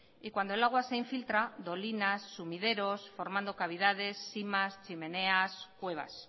y cuando el agua se infiltra dolinas sumideros formando cavidades simas chimeneas cuevas